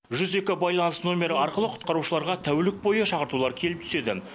жүз екі байланыс номері арқылы құтқарушыларға тәулік бойы шақыртулар келіп түседі